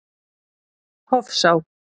Hofsá